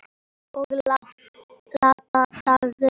Og láta dægrin ljóma.